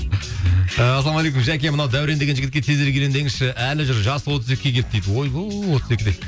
і ассалаумағалейкум жәке мынау дәурен деген жігітке тезірек үйлен деңізші әлі жүр жасы отыз екіге келді дейді ойбай отыз екіде